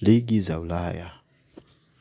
ligi za ulaya.